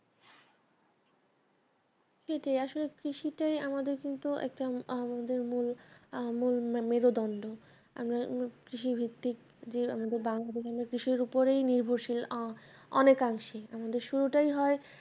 সেটাই আসল কৃষিটাই আমাদের কিন্তু একটা আমাদের মূল আহ মূল মেরুদণ্ড আমরা কৃষিভিত্তিক যে আমাদের বাংলাদেশে কৃষির উপরেই নির্ভরশীল অনেকাংশেই আমাদের শুরুটাই হয়